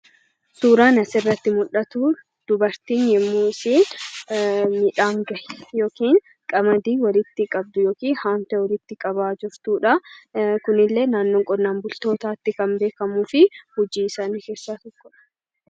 Suuraan asirratti mul'atu dubartii yommuu ishiin midhaan gashitu yookiin qamadii haamtee walitti qabaa jirtudha. Kuni illee naannoo qonnaan bultootaatti kan beekamuu fi hojii isaanii keessaa tokkodha.